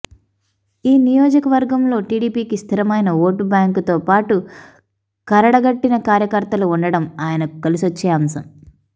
ఈ నియోజకవర్గంలో టీడీపీకి స్థిరమైన ఓటు బ్యాంకుతోపాటు కరడగట్టిన కార్యకర్తలు ఉండటం ఆయనకు కలిసొచ్చే అంశం